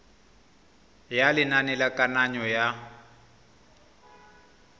ya lenane la kananyo ya